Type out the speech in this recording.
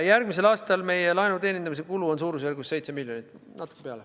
Järgmisel aastal meie laenu teenindamise kulu on suurusjärgus 7 miljonit, natuke peale.